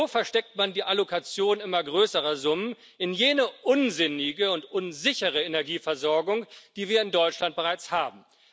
So versteckt man die Allokation immer größerer Summen für jene unsinnige und unsichere Energieversorgung, die wir in Deutschland bereits haben.